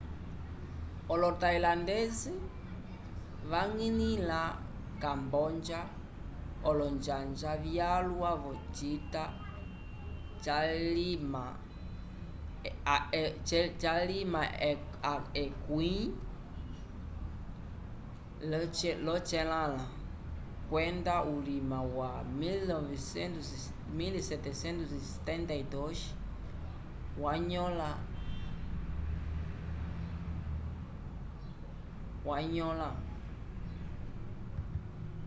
olo-tailandese vañgilĩla camboja olonjanja vyalwa v'ocita xviii kwenda vulima wa 1772 vanyõla phnom phen